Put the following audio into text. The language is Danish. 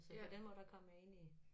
Så på den måde der kom jeg ind i